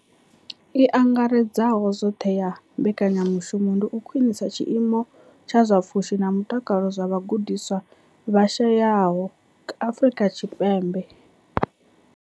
I angaredzaho zwoṱhe ya mbekanya mushumo ndi u khwinisa tshiimo tsha zwa pfushi na mutakalo zwa vhagudiswa vha shayesaho Afrika Tshipembe.